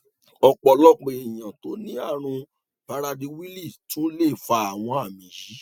ọpọlọpọ èèyàn tó ní àrùn praderwilli tún lè fa àwọn àmì yìí